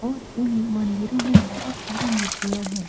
और इन मंदिरों में बहुत सारे मूर्तियां है।